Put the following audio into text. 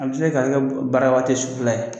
An bi se ka kɛ bara tɛ sufɛla ye